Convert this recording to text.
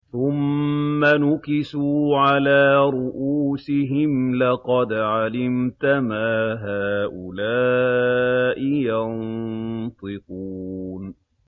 ثُمَّ نُكِسُوا عَلَىٰ رُءُوسِهِمْ لَقَدْ عَلِمْتَ مَا هَٰؤُلَاءِ يَنطِقُونَ